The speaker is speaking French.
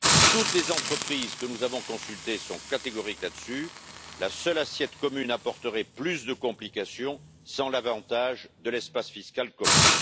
Toutes les entreprises que nous avons consultées sont catégoriques là dessus la seule assiette commune apporterait plus de complications sans l'avantage de l'espace fiscal commun.